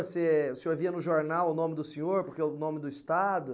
Você, o senhor via no jornal o nome do senhor, porque é o nome do Estado.